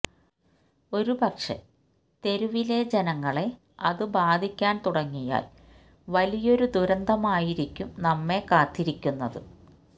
ഒരുപക്ഷേ തെരുവിലെ ജനങ്ങളെ അത് ബാധിക്കാൻ തുടങ്ങിയാൽ വലിയൊരു ദുരന്തമായിരിക്കും നമ്മെ കാത്തിരിക്കുന്നത്